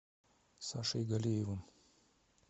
сашей галеевым